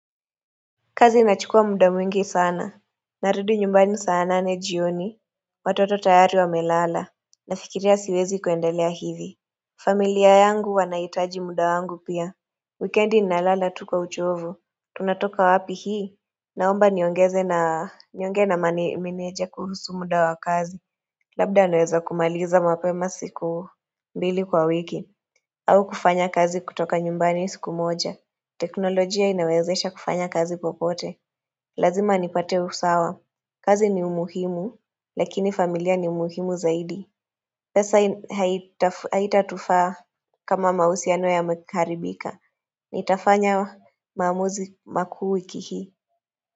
Kazi inachukua muda mwingi sana Narudi nyumbani sana nane jioni Watoto tayari wamelala Nafikiria siwezi kuendelea hivi familia yangu wanahitaji muda wangu pia Wikendi ninalala tu kwauchovu Tunatoka wapi hii Naomba niongeze niongee na meneja kuhusu muda wa kazi Labda naeza kumaliza mapema siku mbili kwa wiki au kufanya kazi kutoka nyumbani siku moja teknolojia inawezesha kufanya kazi popote Lazima nipate usawa, kazi ni muhimu, lakini familia ni muhimu zaidi pesa haitatufaa kama mahusiano yameharibika, nitafanya maamuzi makuu wiki hii.